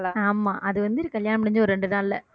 ஆமா அது வந்து கல்யாணம் முடிஞ்சு ஒரு ரெண்டு நாள்ல